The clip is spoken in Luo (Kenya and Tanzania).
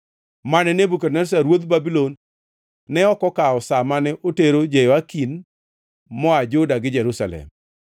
mane Nebukadneza ruodh Babulon ne ok okawo sa mane otero Jehoyakin wuod Jehoyakim ruodh Juda e twech kogole Jerusalem nyaka Babulon kaachiel gi joka ruoth moa Juda gi Jerusalem,